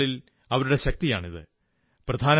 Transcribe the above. വരും നാളുകളിൽ അവരുടെ ശക്തിയാണിത്